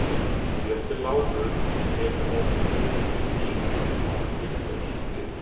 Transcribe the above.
Bréf til Láru hefir orðið mér meiri féþúfa en ég bjóst við.